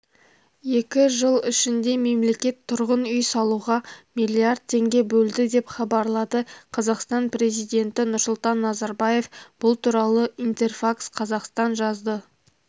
екі жыл ішінде мемлекет тұрғын үй салуға миллиард теңге бөлді деп хабарлады қазақстан президенті нұрсұлтан назарбаев бұл туралы интерфакс-қазақстан жазды